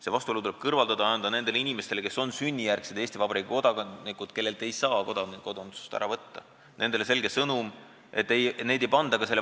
See vastuolu tuleb kõrvaldada ja anda nendele inimestele, kes on sünnijärgsed Eesti Vabariigi kodanikud ja kellelt ei saa kodakondsust ära võtta, selge sõnum, et neid ei panda valiku ette.